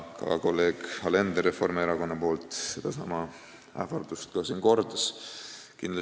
Ka kolleeg Alender kordas siin sedasama ähvardust Reformierakonna nimel.